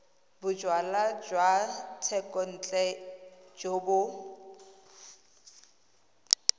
bojalwa jwa thekontle jo bo